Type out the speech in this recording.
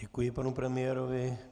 Děkuji panu premiérovi.